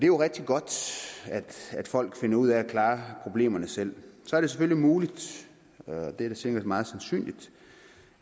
jo rigtig godt at folk finder ud af at klare problemerne selv så er det selvfølgelig muligt og det er da sikkert også meget sandsynligt